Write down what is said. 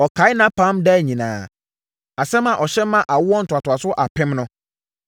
Ɔkae nʼapam daa nyinaa, asɛm a ɔhyɛ maa awoɔ ntoantoasoɔ apem no.